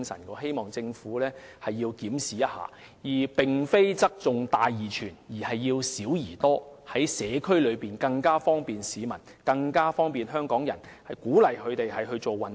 我希望政府進行檢視，不要側重於"大而全"，而要"小而多"，在社區方便及鼓勵市民和香港人做運動。